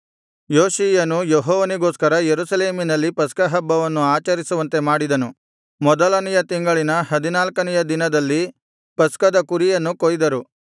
ಯೋಷೀಯನು ಯೆಹೋವನಿಗೋಸ್ಕರ ಯೆರೂಸಲೇಮಿನಲ್ಲಿ ಪಸ್ಕಹಬ್ಬವನ್ನು ಆಚರಿಸುವಂತೆ ಮಾಡಿದನು ಮೊದಲನೆಯ ತಿಂಗಳಿನ ಹದಿನಾಲ್ಕನೆಯ ದಿನದಲ್ಲಿ ಪಸ್ಕದ ಕುರಿಗಳನ್ನು ಕೊಯ್ದರು